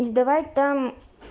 и сдавать там